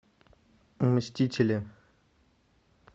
мстители